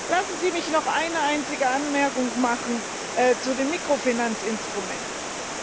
Lassen Sie mich noch eine einzige Anmerkung zu dem Mikrofinanzinstrument machen.